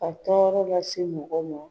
Ka tɔɔrɔ lase mɔgɔw ma .